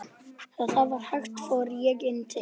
Þegar það var hætt fór ég inn til